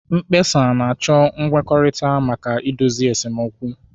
Mkpesa na-achọ nkwekọrịta maka idozi esemokwu.